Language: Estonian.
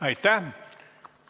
Aitäh!